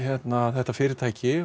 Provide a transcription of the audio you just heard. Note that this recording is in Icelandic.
þetta fyrirtæki